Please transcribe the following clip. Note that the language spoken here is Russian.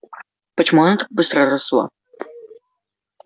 почему она так быстро росла